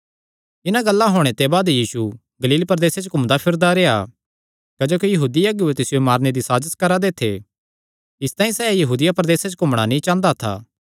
इन्हां गल्लां होणे ते बाद यीशु गलील प्रदेसे च घूमदा फिरदा रेह्आ क्जोकि यहूदी अगुऐ तिसियो मारने दी साजस करा दे थे इसतांई सैह़ यहूदिया प्रदेसे च घूमणा नीं चांह़दा था